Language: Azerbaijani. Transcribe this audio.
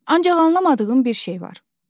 Ancaq anlamadığım bir şey var.